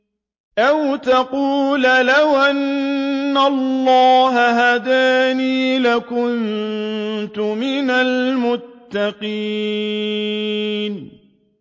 أَوْ تَقُولَ لَوْ أَنَّ اللَّهَ هَدَانِي لَكُنتُ مِنَ الْمُتَّقِينَ